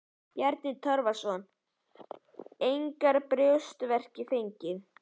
Bjarni Torfason: Engar brjóstverki fengið?